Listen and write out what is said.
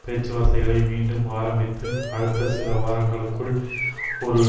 பேச்சுவார்த்தைகளை மீண்டும் ஆரம்பித்து அடுத்த சில வாரங்களுக்குள் ஒரு